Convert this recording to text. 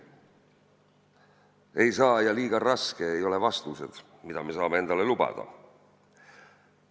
"Ei saa!" ja "Liiga raske!" ei ole vastused, mida me saame endale lubada.